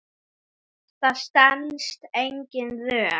Þetta stenst engin rök.